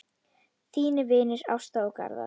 Þínir vinir Ásta og Garðar.